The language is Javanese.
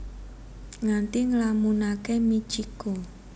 Nganti nglamunake Mitchiko